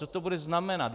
Co to bude znamenat?